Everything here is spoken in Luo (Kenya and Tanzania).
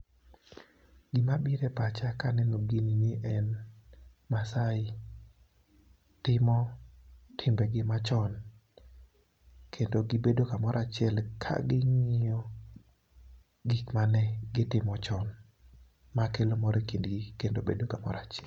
gima bire pacha ka aneno gini ni en masaai timo timbe gi machon ,kendo gibedo kamoro achiel kaging'iyo gima ne gitimo chon. Ma kelo mor a kindgi kendo bedo kamoro achiel.